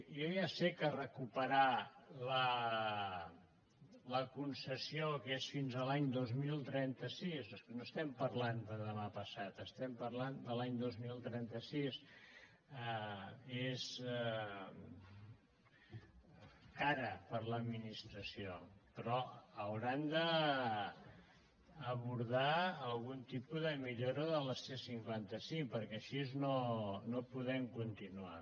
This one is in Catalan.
jo ja sé que recuperar la concessió que és fins a l’any dos mil trenta sis és que no estem parlant de demà passat estem parlant de l’any dos mil trenta sis és car per a l’administració però hauran d’abordar algun tipus de millora de la c cinquanta cinc perquè així no podem continuar